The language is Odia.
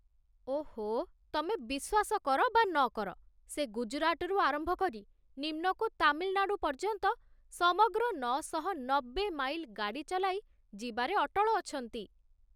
ଓଃ, ତମେ ବିଶ୍ୱାସ କର ବା ନକର, ସେ ଗୁଜରାଟରୁ ଆରମ୍ଭ କରି ନିମ୍ନକୁ ତାମିଲ୍‌ନାଡୁ ପର୍ଯ୍ୟନ୍ତ ସମଗ୍ର ନଅଶହନବେ ମାଇଲ୍ ଗାଡ଼ି ଚଲାଇ ଯିବାରେ ଅଟଳ ଅଛନ୍ତି